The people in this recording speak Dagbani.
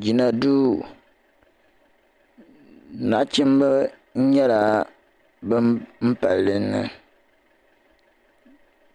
Jina duu nachimba nyɛla ban pali dinni